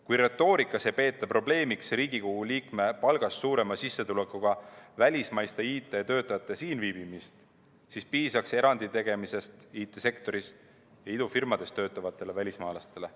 Kui retoorikas ei peeta probleemiks Riigikogu liikme palgast suurema sissetulekuga välismaiste IT‑töötajate siinviibimist, siis piisaks erandi tegemisest IT‑sektoris või idufirmades töötavatele välismaalastele.